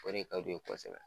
Ko ne ka d'u ye kɔsɛbɛ